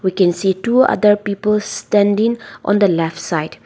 we can see two other peoples standing on the left side.